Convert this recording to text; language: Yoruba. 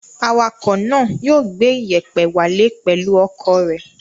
Awakọ̀ náà yóò gbé ìyẹ̀pẹ̀ wálé pẹ̀lú ọkọ̀ rẹ̀.